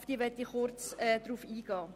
Auf diese möchte ich kurz eingehen.